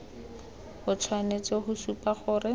o tshwanetse go supa gore